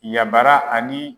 Ɲabara ani.